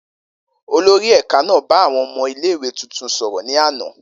Olori ẹka naa n ba awọn ọmọ ile-iwe tuntun sọrọ ni ana.